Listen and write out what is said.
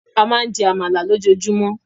A máa ń jẹ́ Àmàlà lójoojúmọ́